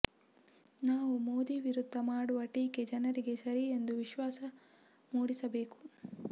ನಾವು ಮೋದಿ ವಿರುದ್ಧ ಮಾಡುವ ಟೀಕೆ ಜನರಿಗೆ ಸರಿ ಎಂದು ವಿಶ್ವಾಸ ಮೂಡಿಸಬೇಕು